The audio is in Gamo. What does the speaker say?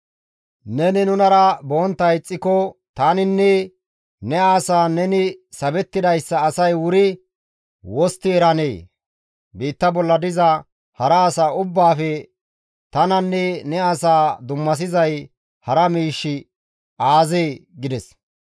Neni nunara bontta ixxiko tananinne ne asaan neni sabettidayssa asay wuri wostti eranee? Biitta bolla diza hara asa ubbaafe tananne ne asaa dummasizay hara miishshi aazee?» gides.